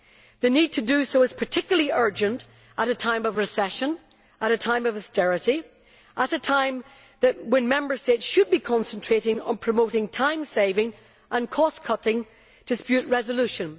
The need to do so is particularly urgent at a time of recession, at a time of austerity, at a time when Member States should be concentrating on promoting time saving and cost cutting dispute resolution.